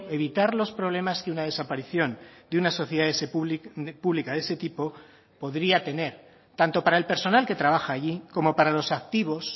evitar los problemas que una desaparición de una sociedad pública de ese tipo podría tener tanto para el personal que trabaja allí como para los activos